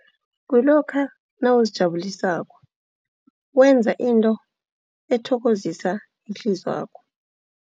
Kulokha nawuzijabulisako wenza into ethokozisa ihlizwakho.